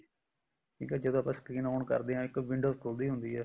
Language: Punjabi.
ਠੀਕ ਏ ਜਦੋਂ ਆਪਾਂ screen on ਕਰਦੇ ਹਾਂ window ਖੁੱਲਦੀ ਹੁੰਦੀ ਹੈ